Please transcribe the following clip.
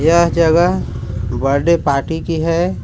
यह जगह birthday party की है।